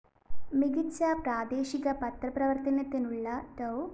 മികച്ച പ്രാദേശിക പത്രപ്രവര്‍ത്തനത്തിനുള്ള ഡോ